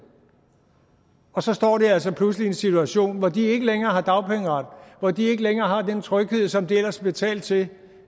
så står de altså pludselig i en situation hvor de ikke længere har dagpengeret hvor de ikke længere har den tryghed som de ellers har betalt til